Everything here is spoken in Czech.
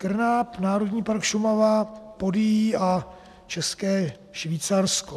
KRNAP, národní park Šumava, Podyjí a České Švýcarsko.